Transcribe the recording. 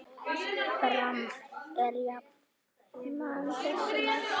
Dramb er jafnan þessu næst.